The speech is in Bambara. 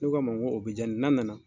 Ne ko a ma n k'o bɛ ja ne ye n'a nana